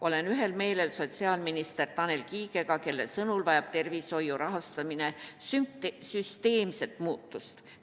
Olen ühel meelel sotsiaalminister Tanel Kiigega, kelle sõnul vajab tervishoiu rahastamine süsteemset muutust.